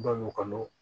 Ba ɲɔkɔnɔ